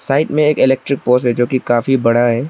Side में एक electric post है जोकि काफी बड़ा है।